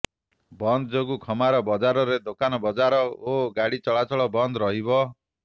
ବନ୍ଦ ଯୋଗୁଁ ଖମାର ବଜାରରେ ଦୋକାନବଜାର ଓ ଗାଡ଼ି ଚଳାଚଳ ବନ୍ଦ ରହିଛି